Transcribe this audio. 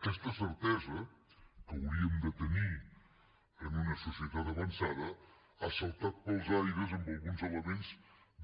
aquesta certesa que hauríem de tenir en una societat avançada ha saltat pels aires amb alguns elements